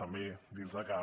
també dir los que